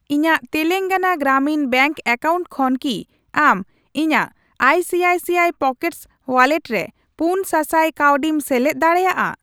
ᱤᱧᱟ.ᱜ Telangana Gramin bank account ᱠᱷᱚᱱ ᱠᱤ ᱟᱢ ᱤᱧᱟᱜ ᱟᱭᱥᱤᱟᱭᱥᱤᱟᱭ ᱯᱚᱠᱮᱴᱥ ᱣᱟᱞᱞᱮᱴ ᱨᱮ ᱯᱩᱱ ᱥᱟᱥᱟᱭ ᱠᱟᱹᱣᱰᱤᱢ ᱥᱮᱞᱮᱫ ᱫᱟᱲᱮᱭᱟᱜᱼᱟ ?